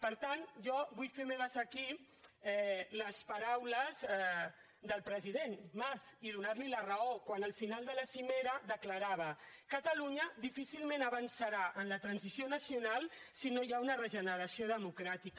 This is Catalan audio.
per tant jo vull fer meves aquí les paraules del president mas i donar li la raó quan al final de la cimera declarava catalunya difícilment avançarà en la transició nacional si no hi ha una regeneració democràtica